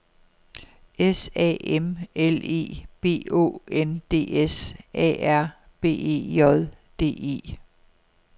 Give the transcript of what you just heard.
S A M L E B Å N D S A R B E J D E